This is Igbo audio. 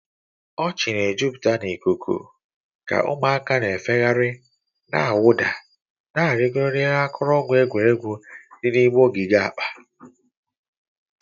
Ọchị na-ejupụta ikuku ka ụmụaka na-efegharị, na-awụda, na-arịgoro n'elu akụrụngwa egwuregwu dị n'ime ogige akpa.